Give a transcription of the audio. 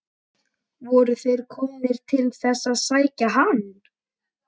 Voru þeir komnir til þess að sækja hann?